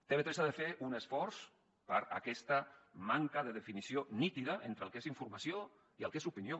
tv3 ha de fer un esforç per aquesta manca de definició nítida entre el que és informació i el que és opinió